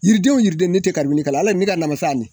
Yiridenw o yiriden ne te karibini k'ala ale ne ka namasa nin